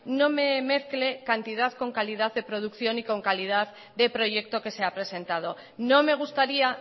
no me mezcle cantidad con calidad de producción y con calidad de proyecto que se ha presentado no me gustaría